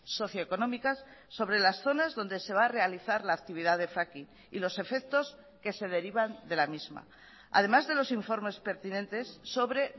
socio económicas sobre las zonas donde se va a realizar la actividad de fracking y los efectos que se derivan de la misma además de los informes pertinentes sobre